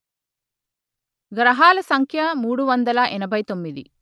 గ్రహాల సంఖ్య మూడు వందల ఎనభై తొమ్మిది